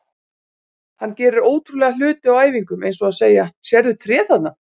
Hann gerir ótrúlega hluti á æfingum eins og að segja: Sérðu tréð þarna?